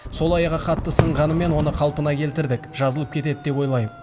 сол аяғы қатты сынғанымен оны қалпына келтірдік жазылып кетеді деп ойлайм